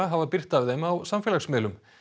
hafa birt af þeim á samfélagsmiðlum